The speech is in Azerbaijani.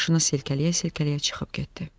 Başını silkələyə-silkələyə çıxıb getdi.